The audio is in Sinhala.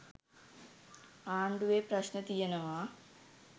ආණ්ඩුවේ ප්‍රශ්න තියෙනවා.